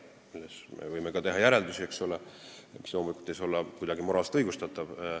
Ka sellest me võime teha järeldusi, mis loomulikult ei saa olla kuidagi moraalselt õigustatud.